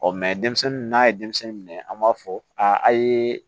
denmisɛnnin n'a ye denmisɛnnin minɛ an b'a fɔ a ye